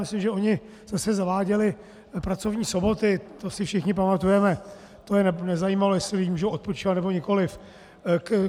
Myslím, že oni zase zaváděli pracovní soboty, to si všichni pamatujeme, to je nezajímalo, jestli lidé můžou odpočívat, nebo nikoliv.